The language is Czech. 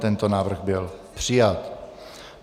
Tento návrh byl přijat.